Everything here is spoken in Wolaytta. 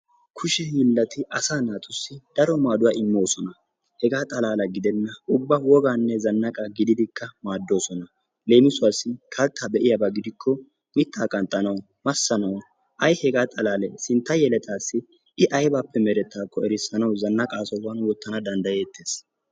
Kusha hiillati asaa naatussi daro maaduwaa immoosona. Hegaa xaalaala gidenna ubba wogaane zannaaqa gididikka maaddoosona. Leemisuwaasi kalttaa be'iyaaba gidikko mittaa qanxxanaw massanawu ay hegaa xalalee sintta yeletaasi i aybaappe merettaakko erissanawu zannaqaa sohuwaan wottanawu danddayettees.